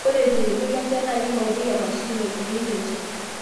ore irkliku Le nchan naa keing'urarieki emashini naipimieki enchan